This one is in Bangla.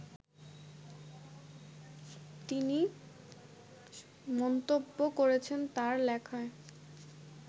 তিনি মন্তব্য করেছেন তার লেখায়